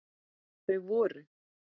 Þau voru